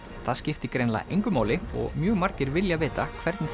það skiptir greinilega engu máli og mjög margir vilja vita hvernig